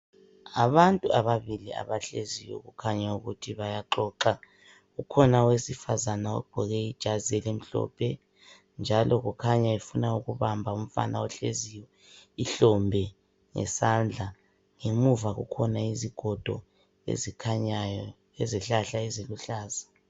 Abantu ababili abahleziyo kukhanya ukuthi bayaxoxa, kukhona owesifazana ogqoke ijazi elimhlophe, njalo kukhanya efuna ukubamba umfana ohleziyo ihlombe ngesandla. Ngemuva kukhona izigodo ezikhanyayo lezihlahla eziluhlaza.